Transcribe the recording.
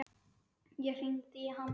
Ég hringdi í hann.